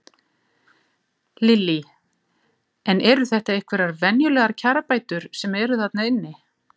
Lillý: En eru þetta einhverjar verulegar kjarabætur sem eru þarna inni?